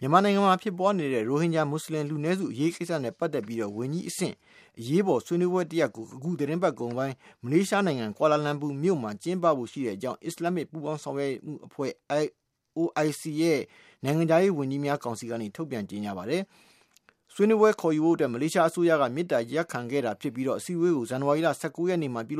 မြန်မာနိုင်ငံမှာ ဖြစ်ပွားနေတဲ့ ရိုဟင်ဂျာမွတ်ဆလင် လူနည်းစု အရေးကိစ္စနဲ့ ပတ်သက်ပြီး ဝန်ကြီးအဆင့် အရေးပေါ်ဆွေးနွေးပွဲတရပ်ကို အခုသီတင်းပတ် ကုန်ပိုင်း မလေးရှားနိုင်ငံ ကွာလာလမ်ပူမြို့မှာ ကျင်းပဖို့ ရှိကြောင်း အစ္စလာမ် ပူးပေါင်းဆောင်ရွက်အဖွဲ့ (OIC) ရဲ့ နိုင်ငံခြားရေး ဝန်ကြီးများ ကောင်စီက ထုတ်ပြန်ကြေညာပါတယ်။ ဆွေးနွေးပွဲခေါ်ယူဖို့အတွက် မလေးရှားအစိုးရက မေတ္တာရပ်ခံခဲ့တာဖြစ်ပြီး အစည်းဝေးကို ဇန်နဝါရီလ ၁၉ ရက်နေ့မှာ ဖြ